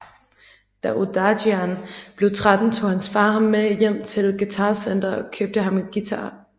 Da Odadjian blev tretten tog hans far ham med til et Guitar Center og købte ham en guitar